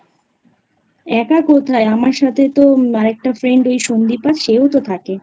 একা কোথায় আমার সাথে তো আরেকটা Friend ওই সঙ্গীতা সেও তো থাকে